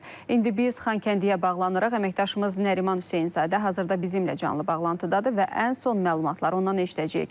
İndi biz Xankəndiyə bağlanaraq əməkdaşımız Nəriman Hüseynzadə hazırda bizimlə canlı bağlantıdadır və ən son məlumatları ondan eşidəcəyik.